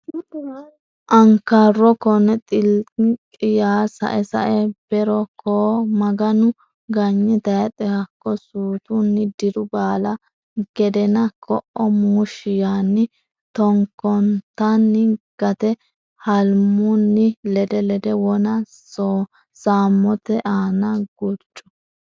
ankarro konne xilikki yaa sae sae be ro koo o muganni ganye tayxe hakko suutunni diru baala gedena ko o muushshi yaanni takkontanni gate hulmanni lede lede wona sammote aana gurcu.